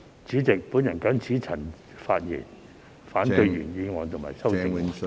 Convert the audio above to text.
主席，我謹此陳辭，反對原議案和修正案。